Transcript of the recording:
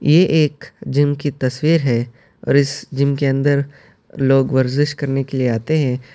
یہ ایک جم کی تصویر ہے اور اس جم کے اندر لوگ ورجس کرنے کے لئے ہے۔